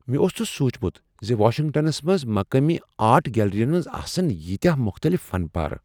مےٚ اوس نہٕ سوچمت ز واشنگٹنس منز مقامی آرٹ گیلری ین منز آسن ییتۍ مختلف فنپارہ۔